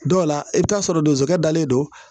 Dɔw la i bɛ taa sɔrɔ donsokɛ dalen don